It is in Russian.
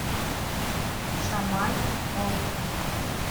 шамай волков